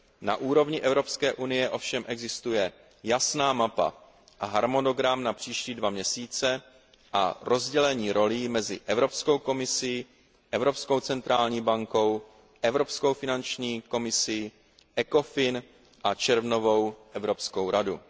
Na úrovni EU ovšem existuje jasná mapa a harmonogram na příští dva měsíce a rozdělení rolí mezi Evropskou komisi, Evropskou centrální banku, Evropskou finanční komisi, ECOFIN a červnovou Evropskou radu.